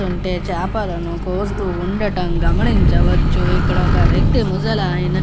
చూస్తూ ఉంటే చేపలను కోస్తూ ఉండటము గమనించవచ్చు. ఇక్కడ ఒక వ్యక్తి ముసలాయన వచ్చి --